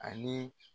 Ani